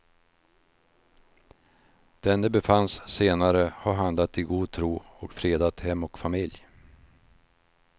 Denne befanns senare ha handlat i god tro och fredat hem och familj.